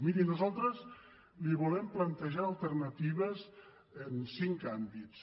miri nosaltres li volem plantejar alternatives en cinc àmbits